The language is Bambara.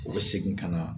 U bɛ segin ka na